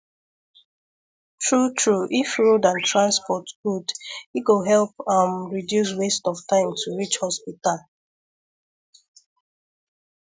true true if road and transport good e go help um reduce waste of time to reach hospital